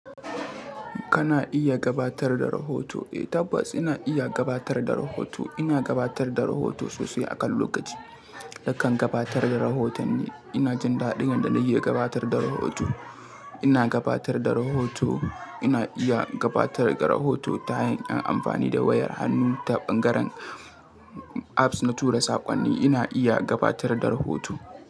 Kana iya gabatar da rahoto? Eh tabbas ina iya gabatar da rahoto. Ina gabatar da rahoto sosai akan lokaci. Nakan gabatar da rahotonni. Ina jin daɗin yadda na iya gabatar da rahoto. Ina gabatar da rahoto. Ina iya gabatar da rahoto ta hanyar amfani da wayar hannu ta bangaren apps na tura saƙonni. Ina iya gabatar da rahoto.